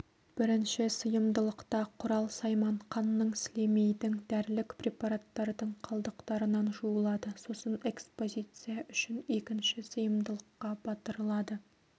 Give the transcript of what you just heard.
бірінші сыйымдылықта құрал-сайман қанның сілемейдің дәрілік препараттардың қалдықтарынан жуылады сосын экспозиция үшін екінші сыйымдылыққа батырылады